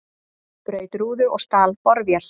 Braut rúðu og stal borvél